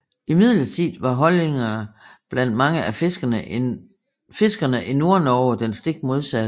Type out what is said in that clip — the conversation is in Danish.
Imidlertid var holdningerne blandt mange af fiskerne i Nordnorge den stik modsatte